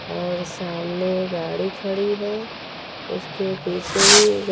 और सामने गाड़ी खड़ी है उसके पीछे भी ग--